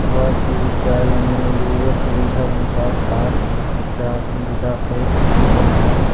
बस चाय लाने वाली सुविधा अनुसार कार लेजात हे आपन ला --